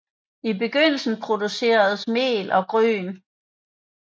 I begyndelsen produceredes mel og gryn